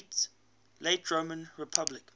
late roman republic